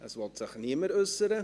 Es will sich niemand äussern.